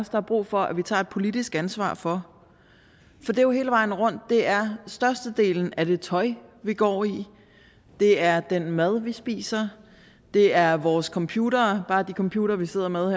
der er brug for at vi tager et politisk ansvar for for det er jo hele vejen rundt det er størstedelen af det tøj vi går i det er den mad vi spiser det er vores computere bare de computere vi sidder med